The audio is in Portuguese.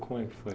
Como é que foi?